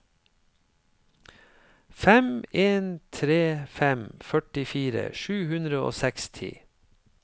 fem en tre fem førtifire sju hundre og seksti